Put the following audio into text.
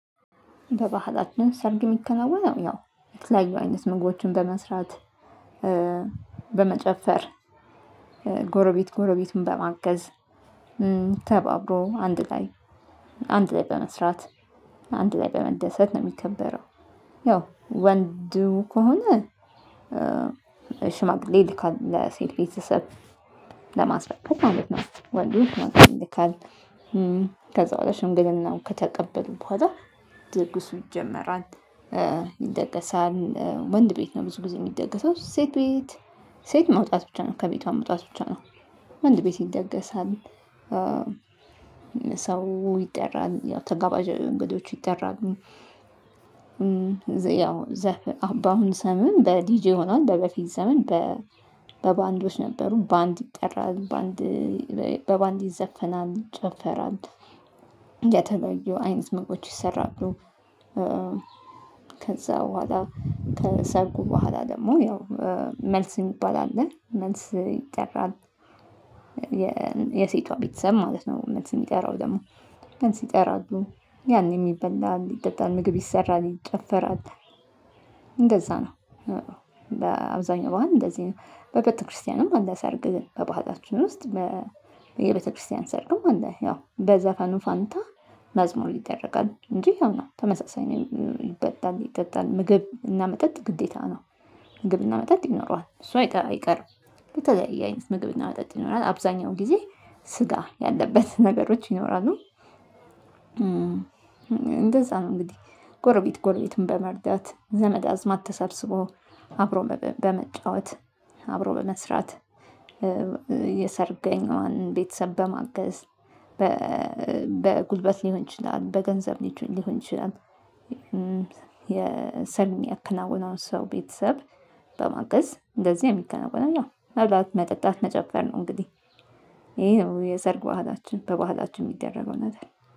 በባህላችን ሰርግ የሚከናወነው ያው የተለያዩ አይነት ምግቦችን በመስራት በመጨፈር ጎረቤት ጎረቤቱን በማገዝ ተባብሮ አንድ ላይ አንድ ላይ በመስራት አንድ ላይ በመደሰት ነው የሚከበረው። ያው ወንዱ ከሆነ ሽማግሌ ይልካሉ ለሴት ቤተሰብ ለማስፈረም ማለት ነው። ወንዶች ይልካሉ ከዛ በኋላ ሽምግልናም ከተቀበሉት በኋላ ድግሱ ይጀመራል። ይደገሳል ወንድ ቤት ነው ብዙ ጊዜ የሚደገሰው ሴት ቤት። ሴት መውጣት ብቻ ነው ከቤቷ መውጣት ብቻ ነው። ወንድ ቤት ይደገሳል። ሰው ይጠራል ያው ተጋባዥ እንግዶች ይጠራል። ያው ዘፍ በአሁን ዘመን በዲጄ ሆኗል። በበፊት ዘመን በባንዶች ነበሩ ባንድ ይጠራል በአንድ በባንድ ይዘፈናል ጨፈራል። የተለዩ አይነት ምግቦች ይሰራሉ። ከዛ በኋላ ከሰርጉ በኋላ ደግሞ ያው መልስ የሚባል አለ መልስ ይጠራል። የሴቷ ቤተሰብ ማለት ነው። መልስ የሚጠራው ደግሞ መልስ ሲጠራሉ ያኔም የበላል ይጠጣል ምግብ ይሰራል ይጨፈራል። እንደዛ ነው። በአብዛኛው በአንድ እንደዚህ ነው። በቤተክርስቲያንም አለ ሳርግ ግን በባህላችን ውስጥ በቤተክርስቲያን ሰርግም አለ። ያው በዘፈኑ ፋንታ መዝሙር ይደረጋል እንጂ ያው ነው ተመሳሳይ ነው ይጠጣል ምግብ እና መጠጥ ግዴታ ነው። ምግብ እና መጠጥ ይኖረዋል እሱ አይቀርም። በተለያየ አይነት ምግብና መጠጥ ይኖራል አብዛኛው ጊዜ ስጋ ያለበት ነገሮች ይኖራሉ። እንደዛ ነው። እንግዲህ ጎረቤት ጎረቤቱን በመርዳት ዘመድ አዝማድ ተሰብስቦ አብሮ በመጫወት አብሮ በመስራት የሰርገኛዋን ቤተሰብ በማገዝ በጉልበት ሊሆን ይችላል በገንዘብ ሊሆን ይችላል። የሰርግ የሚያከነወነው ሰው ቤተሰብ በማገዝ እንደዚህ የሚከነወነው ነው። መብለት መጠጣት መጨፈር ነው። እንግዲህ ይሄ ነው የሰርግ በባህላችን በባህላችን የሚደረገው ነገር